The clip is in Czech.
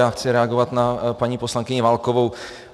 Já chci reagovat na paní poslankyni Válkovou.